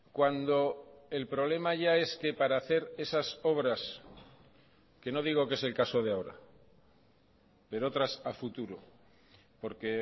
cuando el problema ya es que para hacer esas obras que no digo que es el caso de ahora pero otras a futuro porque